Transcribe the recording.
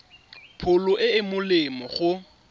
pholo e e molemo go